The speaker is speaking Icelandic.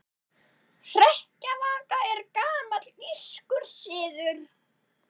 Hrekkjavaka er gamall írskur siður.